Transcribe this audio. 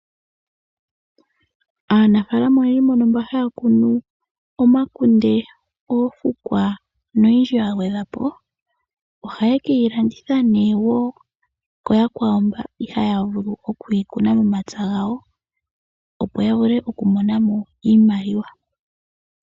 Aanafaalama oyendji mbono mba haya kunu omakunde, oofukwa noyindji ya gwedhwapo ohaye keyi landitha nee woo kuyakwawo mba ihaya vulu okuyi kuna momapya gawo, opo ya vule oku monamo iimaliwa.